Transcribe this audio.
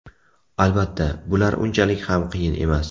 Albatta, bular unchalik ham qiyin emas.